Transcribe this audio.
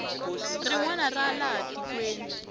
rin wana ra laha tikweni